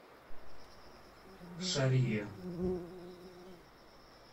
шарье